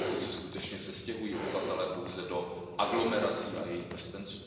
Pokud se skutečně sestěhují obyvatelé pouze do aglomerací a jejich prstenců.